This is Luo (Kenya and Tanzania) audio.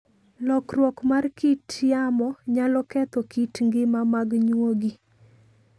Lokruok mar kit yamo nyalo ketho kit ngima mag nyuogi.